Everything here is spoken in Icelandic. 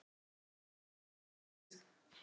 Raðið saman fallega á disk.